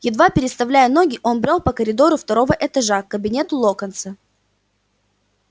едва переставляя ноги он брёл по коридору второго этажа к кабинету локонса